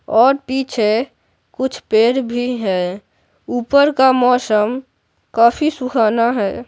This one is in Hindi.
और पीछे कुछ पैर भी हैं ऊपर का मौसम काफी सुहाना है।